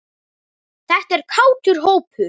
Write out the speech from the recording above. Þetta er kátur hópur.